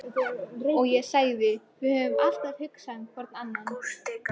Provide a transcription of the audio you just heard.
og ég sagði: Við höfum alltaf hugsað hvor um annan.